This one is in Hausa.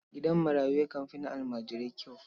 Gidan marayu yakan fi na almajirai kyau.